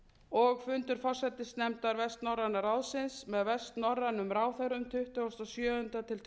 og fundur forsætisnefndar vestnorræna ráðsins með vestnorrænum ráðherrum tuttugasta og sjöunda til tuttugasta og